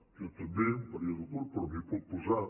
jo també un període curt però m’hi puc posar